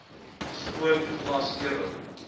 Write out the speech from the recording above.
skoon glas ewig